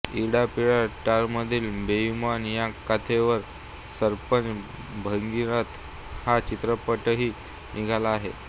इडा पिडा टळोमधील बेईमान या कथेवर सरपंच भगीरथ हा चित्रपटही निघाला आहे